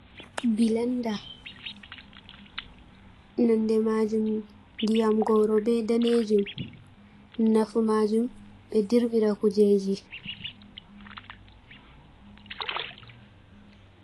Bilenda. Nonde maajum ndiyam goro be daneejum. Nafu maajum ɓe dirɓira kujeji.